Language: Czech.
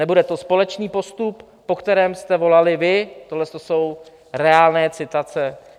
Nebude to společný postup, po kterém jste volali vy, tohle jsou reálné citace.